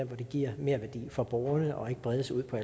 giver merværdi for borgerne og ikke bredes ud på